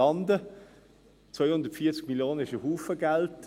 240 Mio. Franken, das ist ein Haufen Geld.